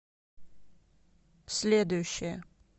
следующая